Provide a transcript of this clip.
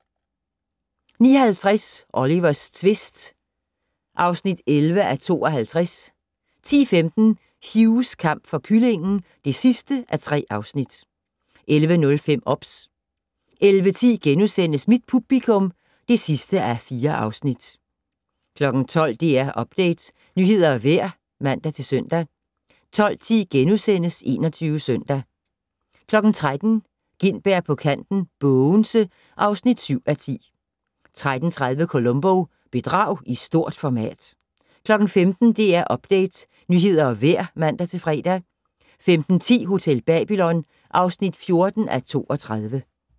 09:50: Olivers tvist (11:52) 10:15: Hughs kamp for kyllingen (3:3) 11:05: OBS 11:10: Mit publikum (4:4)* 12:00: DR Update - nyheder og vejr (man-søn) 12:10: 21 Søndag * 13:00: Gintberg på kanten - Bogense (7:10) 13:30: Columbo: Bedrag i stort format 15:00: DR Update - nyheder og vejr (man-fre) 15:10: Hotel Babylon (14:32)